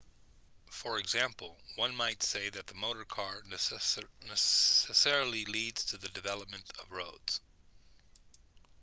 for example one might say that the motor car necessarily leads to the development of roads